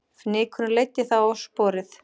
Fnykurinn leiddi þá á sporið